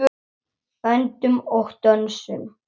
Öndum og dönsum.